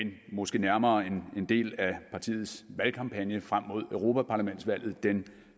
det måske nærmere er en del af partiets valgkampagne frem mod europaparlamentsvalget den